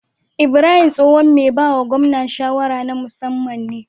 Ibrahim tsohon me bawa gwamna shawara na musaman ne